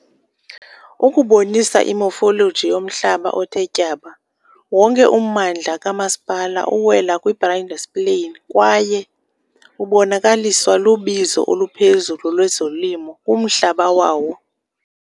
Ukubonisa i-morphology yomhlaba othe tyaba, wonke ummandla kamasipala uwela kwi-Brindisi Plain kwaye ubonakaliswa lubizo oluphezulu lwezolimo kumhlaba wawo.